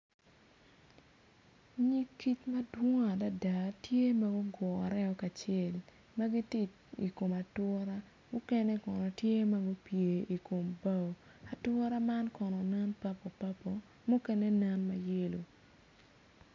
Nyig kic ma gitye madong adada gitye ma gugure kacel ma gitye i kom atura mukene kono gitye ma gupye i kom bao ature man kono nen papulpapil mukene nen ma yelo.